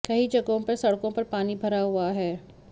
कई जगहों पर सड़कों पर पानी भरा हुआ है